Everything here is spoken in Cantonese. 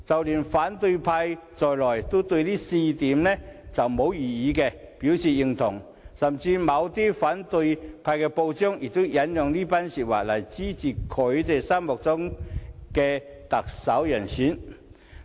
連反對派亦對這4項標準沒有異議，表示認同，而某些反對派報章甚至引用這番言論，以支持心目中的特首人選。